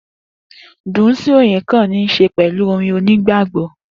Dunsin oyekan ni se pẹlú orin onigbagbọ